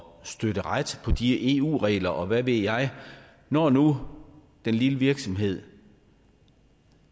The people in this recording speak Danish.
støtte ret på de eu regler og hvad ved jeg når nu den lille virksomhed